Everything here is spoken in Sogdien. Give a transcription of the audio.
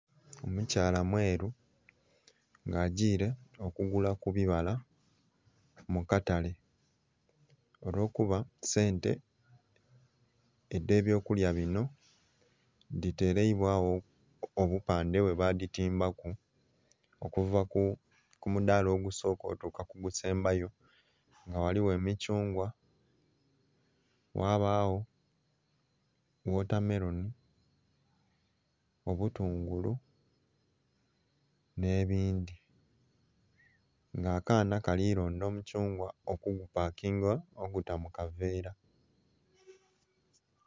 Omukyaala mweru nga agyiire okugula ku bibala mu katale olwokuba sente edhe byokulya bino dhiteleibwawo obupande bwebaditimbaku okuva kumudaala ogusooka okutuuka ku gusembayo nga ghaliwo omuthungwa ghabawo watermelon obutungulu nebindhi , nga akaana kali londa omuthungwa okugupakinga oguta mukaveera